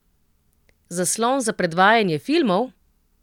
Zaslon za predvajanje filmov?